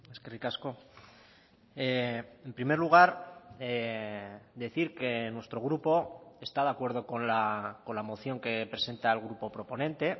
eskerrik asko en primer lugar decir que nuestro grupo está de acuerdo con la moción que presenta el grupo proponente